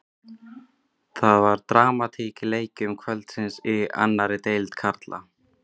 Það var dramatík í leikjum kvöldsins í annarri deild karla.